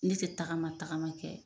Ne tɛ tagama tagama kɛ